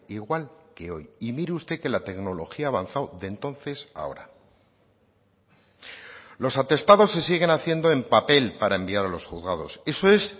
igual que hoy y mire usted que la tecnología ha avanzado de entonces a ahora los atestados se siguen haciendo en papel para enviar a los juzgados eso es